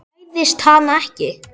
Hræðist hana ekki.